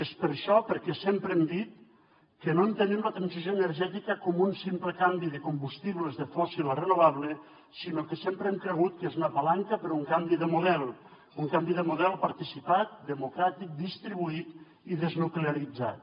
és per això perquè sempre hem dit que no entenem la transició energètica com un simple canvi de combustibles de fòssil a renovable sinó que sempre hem cregut que és una palanca per un canvi de model un canvi de model participat democràtic distribuït i desnuclearitzat